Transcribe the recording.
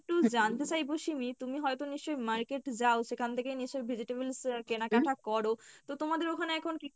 জানতে চাইবো সিমি তুমি হয়তো নিশ্চয় market যাও সেখান থেকে নিশ্চই vegetables আহ কেনাকাটা করো, তো তোমাদের ওখানে এখন কী কী